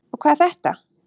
Og hvað er þetta?